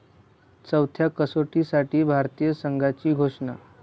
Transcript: चौथ्या कसोटीसाठी भारतीय संघाची घोषणा